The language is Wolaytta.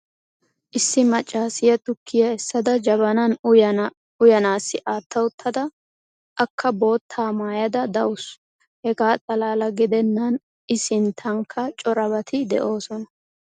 issi macaasiya tukkiya essada jabanan uyana assi atta uttada akka bootta maayada dawusu. hegaa xalaala gidennan i sintankka corabati de'oosona.